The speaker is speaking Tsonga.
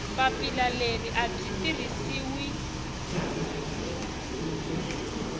papila leri a byi tirhisiwi